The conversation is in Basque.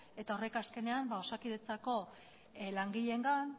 eta horrek azkenean osakidetzako langileengan